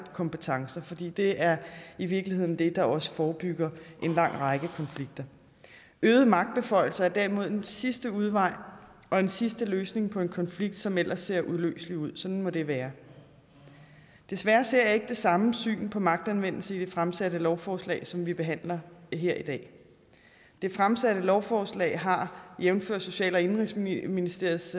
kompetencer fordi det er i virkeligheden det der også forebygger en lang række konflikter øgede magtbeføjelser er derimod en sidste udvej og en sidste løsning på en konflikt som ellers ser uløselig ud sådan må det være desværre ser jeg ikke det samme syn på magtanvendelse i det fremsatte lovforslag som vi behandler her i dag det fremsatte lovforslag har jævnfør social og indenrigsministeriets